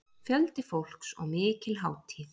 Fjöldi fólks og mikil hátíð